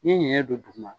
N ye ɲɛ don duguma